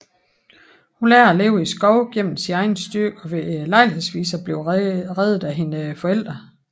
Hun lærer at leve i skoven gennem sin egen styrke og ved lejlighedsvis at blive reddet af hendes forældre